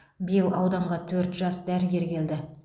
биыл ауданға төрт жас дәрігер келді